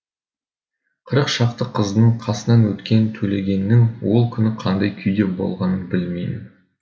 қырық шақты қыздың қасынан өткен төлегеннің ол күні қандай күйде болғанын білмеймін